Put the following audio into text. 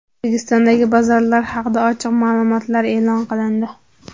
O‘zbekistondagi bozorlar haqida ochiq ma’lumotlar e’lon qilindi.